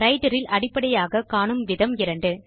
writer இல் அடிப்படையாக காணும் விதம் இரண்டு